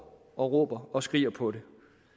og råber og skriger på det